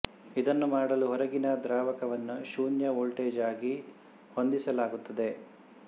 ಇದನ್ನು ಮಾಡಲು ಹೊರಗಿನ ದ್ರಾವಕವನ್ನು ಶೂನ್ಯ ವೋಲ್ಟೇಜ್ ಆಗಿ ಹೊಂದಿಸಲಾಗುತ್ತದೆ